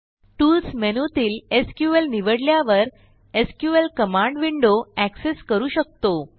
tools मेनूतील SQL निवडल्यावर SQL command window access करू शकतो